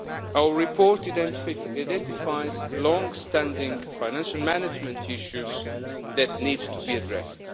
Our report identifies long standing financial management issues that need to be addressed.